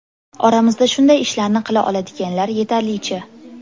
Oramizda shunday ishlarni qila oladiganlar yetarlicha.